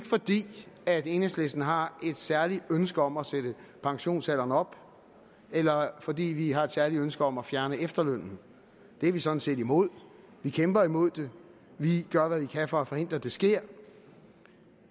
fordi enhedslisten har et særligt ønske om at sætte pensionsalderen op eller fordi vi har et særligt ønske om at fjerne efterlønnen det er vi sådan set imod vi kæmper imod det vi gør hvad vi kan for at forhindre at det sker